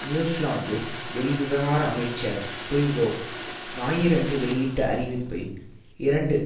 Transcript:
New Zealand வெளிவிவகார அமைச்சர் Phil Goff ஞாயிறன்று வெளியிட்ட அறிவிப்பில் இரண்டு